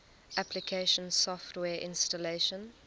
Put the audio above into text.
application software installation